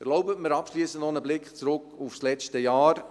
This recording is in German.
Erlauben Sie mir abschliessend einen Blick zurück auf das letzte Jahr.